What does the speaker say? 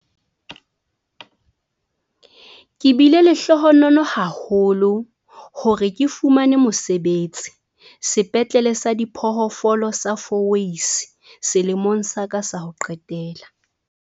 "Ke bile lehlohonolo haholo hore ke fumane mosebetsi Sepetlele sa Diphoofolo sa Fourways selemong sa ka sa ho qetela."